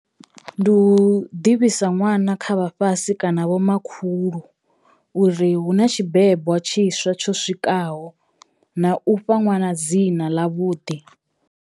Ndi u ḓivhisa ṅwana kha vhafhasi kana vhomakhulu uri hu na tshi bebwa tshiswa tsho swikaho na u fha ṅwana dzina ḽa vhuḓi.